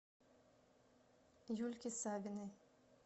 юльке савиной